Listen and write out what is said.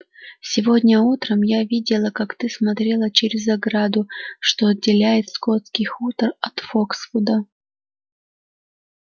сегодня утром я видела как ты смотрела через ограду что отделяет скотский хутор от фоксвуда